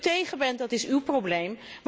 Dat u tegen bent, is uw probleem